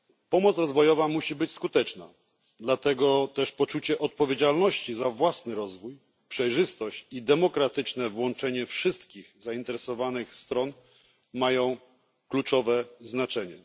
Pomoc rozwojowa musi być skuteczna, dlatego też poczucie odpowiedzialności za własny rozwój, przejrzystość i demokratyczne włączenie wszystkich zainteresowanych stron mają kluczowe znaczenie.